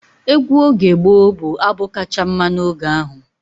Egwu oge gboo bụ abụ kacha mma n'oge ahụ.